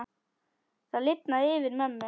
Það lifnaði yfir mömmu.